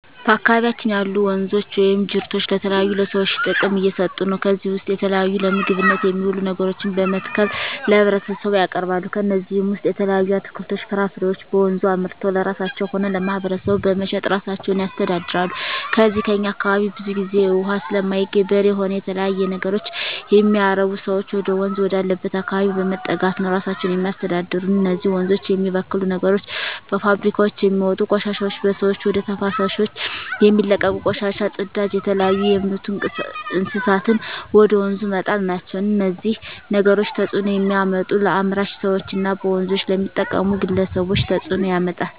በአካባቢያችን ያሉ ወንዞች ወይም ጅረቶች ለተለያዩ ለሰዎች ጥቅም እየሠጡ ነው ከዚህ ውስጥ የተለያዩ ለምግብነት የሚውሉ ነገሮችን በመትከል ለህብረተሰቡ ያቀርባሉ ከነዚህም ውሰጥ የተለያዩ አትክልቶች ፍራፍሬዎችን በወንዙ አምርተው ለራሳቸው ሆነ ለማህበረሰቡ በመሸጥ እራሳቸውን ያስተዳድራሉ ከዚው ከእኛ አካባቢም ብዙ ግዜ እውሃ ስለማይገኝ በሬ ሆነ የተለያዩ ነገሮች የሚያረቡ ሰዎች ወደወንዝ ወዳለበት አካባቢ በመጠጋት ነው እራሳቸውን የሚያስተዳድሩ እነዚህ ወንዞች የሚበክሉ ነገሮች በፋብሪካውች የሚወጡ ቆሻሾች በሰዎች ወደ ተፋሰሶች የሚለቀቁ ቆሻሻ ጽዳጅ የተለያዩ የምቱ እንስሳትን ወደ ወንዙ መጣል ናቸው እነዚህ ነገሮች ተጽዕኖ የሚያመጡት ለአምራች ሰዎች እና በወንዞች ለሚጠቀሙ ግለሰቦች ተጽእኖ ያመጣል